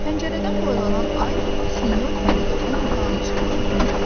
Pəncərədən boylanan ay sinyor Pomidorun otağını işıqlandırırdı.